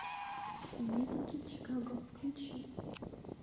медики чикаго включи